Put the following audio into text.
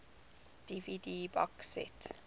dvd box set